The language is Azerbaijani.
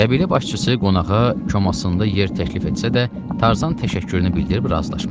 Qəbilə başçısı qonağa konasında yer təklif etsə də, Tarzan təşəkkürünü bildirib razılaşmadı.